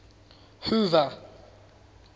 hoover